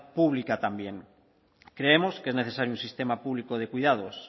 pública también creemos que es necesario un sistema público de cuidados